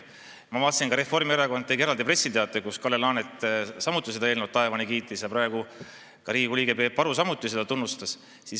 Ma vaatasin, et Reformierakond tegi eraldi pressiteate, kus Kalle Laanet samuti seda eelnõu taevani kiitis, ja praegu Riigikogu liige Peep Aru samuti seda tunnustas.